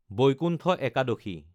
Vaikuntha Ekadashi